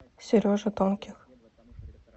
сереже тонких